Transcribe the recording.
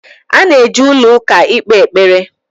A na-eje ụlọ ụka ikpe ekpere